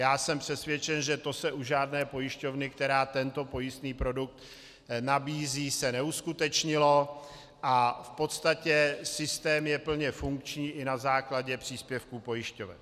Já jsem přesvědčen, že to se u žádné pojišťovny, která tento pojistný produkt nabízí, se neuskutečnilo a v podstatě systém je plně funkční i na základě příspěvků pojišťoven.